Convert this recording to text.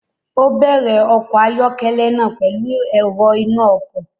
O bẹrẹ ọkọ ayọkẹlẹ náà pẹlu èrò ìnà ọkọ